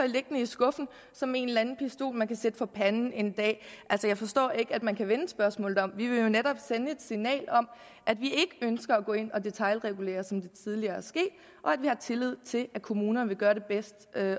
liggende i skuffen som en eller anden pistol man kan sætte for panden en dag jeg forstår ikke at man kan vende spørgsmålet om vi vil jo netop sende signal om at vi ikke ønsker at gå ind og detailregulere som det tidligere er sket og at vi har tillid til at kommunerne vil gøre det bedst